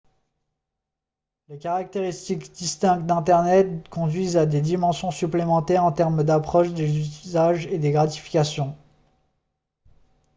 les caractéristiques distinctes d'internet conduisent à des dimensions supplémentaires en termes d'approche des usages et des gratifications